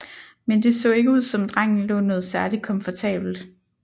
Men det så ikke ud som drengen lå noget særlig komfortabelt